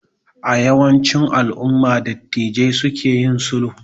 A yawancin alumma dattijai su ke yin sulhu